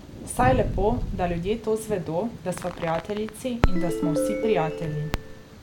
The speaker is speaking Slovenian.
Saj je lepo, da ljudje to zvedo, da sva prijateljici in da smo vsi prijatelji.